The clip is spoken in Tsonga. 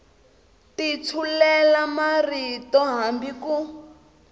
ti tshulela marito hambi ku